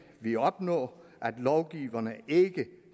vi opnå at lovgiverne ikke